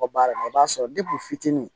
Ka baara i b'a sɔrɔ fitini